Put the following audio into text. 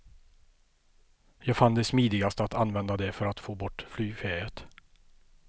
Jag fann det smidigast att använda det för att få bort flygfäet.